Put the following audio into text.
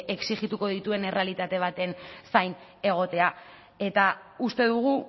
exijituko dituen errealitate baten zain egotea eta uste dugu